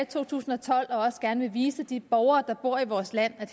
to tusind og tolv og også gerne vil vise de borgere der bor i vores land at